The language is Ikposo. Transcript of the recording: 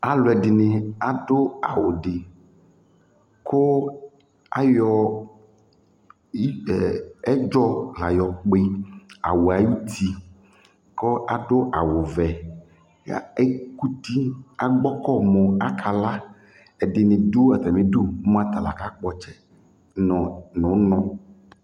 Alʋ ɛdɩnɩ adʋ awʋ dɩ kʋ ayɔ i ɛ ɛdzɔ la yɔkpɩ awʋ yɛ ayuti kʋ adʋ awʋwɛ ya ekuti agbɔkɔ mʋ akala Ɛdɩnɩ dʋ atamɩdu mʋ ata la kakpɔ ɔtsɛ nʋ ʋnɔ